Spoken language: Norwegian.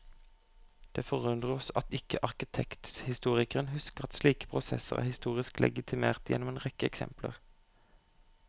Det forundrer oss at ikke arkitekturhistorikeren husker at slike prosesser er historisk legitimert gjennom en rekke eksempler.